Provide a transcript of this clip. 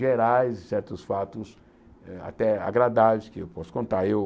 gerais, certos fatos eh até agradáveis que eu posso contar. Eu